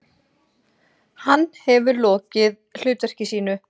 Hann hefur lokið hlutverki sínu.